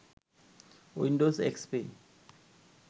Windows XP